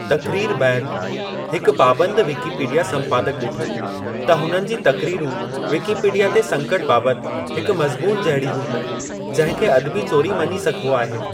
तक़रीरु बैदि, हिकु पाबंदु विकिपीडिया संपादक डि॒ठो त हुननि जी तक़रीरु विकिपीडिया ते संकटु बाबति हिकु मज़मूनु जहिड़ी हुई, जंहिं खे अदबी चोरी मञी सघिबो आहे।